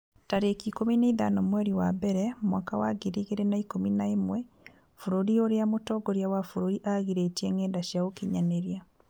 tarĩki ikũmi na ithano mweri wa mbere mwaka wa ngiri igĩrĩ na ikũmi na ĩmwe Bũrũri ũrĩa mũtongoria wa bũrũri aagirĩtie ngenda cia ũkinyanĩria